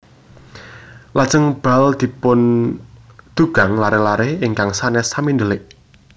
Lajèng bal dipundugang laré laré ingkang sanes sami ndèlik